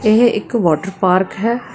ਇਹ ਇੱਕ water park ਹੈ।